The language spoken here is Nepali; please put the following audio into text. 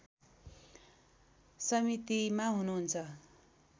समितिमा हुनुहुन्छ